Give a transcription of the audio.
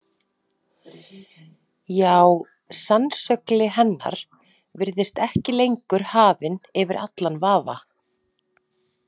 Já, sannsögli hennar virðist ekki lengur hafin yfir allan vafa.